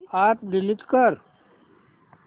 app delete कर